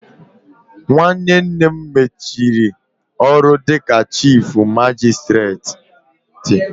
Nwanne nne m mechiri ọrụ dịka chifu magisitireti